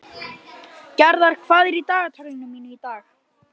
Gerðar, hvað er í dagatalinu mínu í dag?